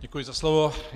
Děkuji za slovo.